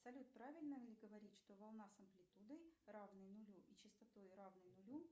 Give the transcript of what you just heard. салют правильно ли говорить что волна с амплитудой равной нулю и частотой равной нулю